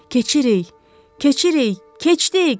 Keçirik, keçirik, keçdik.